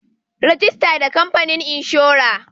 Rajista da kamfanin inshora.